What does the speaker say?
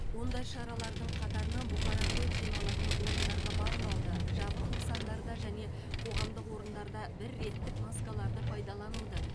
ондай шаралардың қатарына бұқара көп жиналатын орындарға бармауды жабық нысандарда және қоғамдық орындарда бір реттік маскаларды пайдалануды